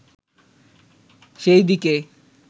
সেই দিকে